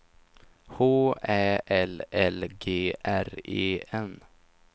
H Ä L L G R E N